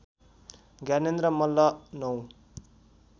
Gyanendra Malla ९